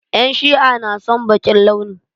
En Shi'a na son baƙin launi.